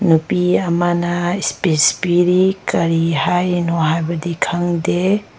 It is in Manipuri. ꯅꯨꯄꯤ ꯑꯃꯅ ꯁ꯭ꯄꯤꯠꯁ ꯄꯤꯔꯤ ꯀꯔꯤ ꯍꯥꯏꯔꯤꯅꯣ ꯍꯥꯏꯕꯗꯤ ꯈꯡꯗꯦ꯫